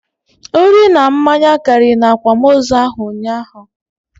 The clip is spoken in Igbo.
Nri na mmanya karị na akwamozu ahụ ụnyaahụ